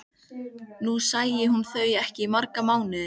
Nú sæi hún þau ekki í marga mánuði.